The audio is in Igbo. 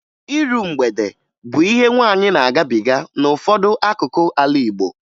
Iru mgbede bụ ihe nwaanyị na-agabiga n'ụfọdụ akụkụ ala Igbo